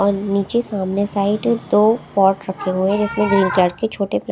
और नीचे सामने साइड दो पॉट रखे हुए जिसमें ग्रीन छोटे पा--